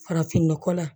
Farafinnɔgɔ la